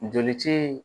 Joli ci